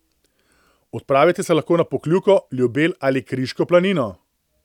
Odpravite se lahko na Pokljuko, Ljubelj ali Kriško planino.